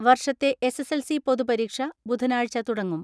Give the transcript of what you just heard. വർഷത്തെ S S L C പൊതുപരീക്ഷ ബുധനാഴ്ച തുടങ്ങും.